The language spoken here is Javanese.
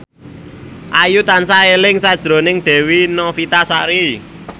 Ayu tansah eling sakjroning Dewi Novitasari